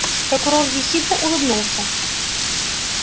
прокурор ехидно улыбнулся